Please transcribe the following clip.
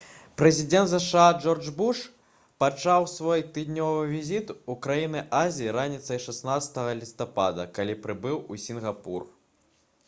прэзідэнт зша джордж буш пачаў свой тыднёвы візіт у краіны азіі раніцай 16 лістапада калі прыбыў у сінгапур